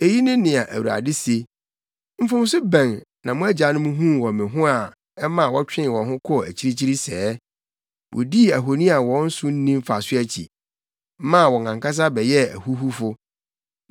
Eyi ne nea Awurade se: “Mfomso bɛn na mo agyanom huu wɔ me ho a ɛma wɔtwee wɔn ho kɔɔ akyirikyiri sɛɛ? Wodii ahoni a wɔn so nni mfaso akyi, maa wɔn ankasa bɛyɛɛ ahuhufo.